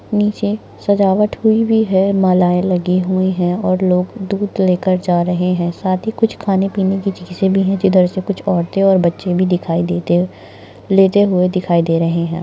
नीचे सजावट हुई हुई है माला ये लगी हुई है और लोग दूध लेकर जा रहे है साथी कुछ खाने पीने चिजे भी है इधर से कुछ औरते और बच्चे भी दिखाई देते लेते हुए दिखाई दे रहे है।